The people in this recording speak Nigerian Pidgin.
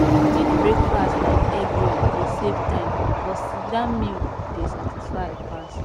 quick breakfast like egg roll dey save time but sitdown meal dey satisfy pass